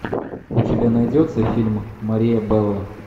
у тебя найдется фильм мария белла